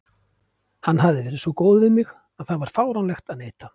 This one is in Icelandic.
Hann hafði verið svo góður við mig að það var fáránlegt að neita.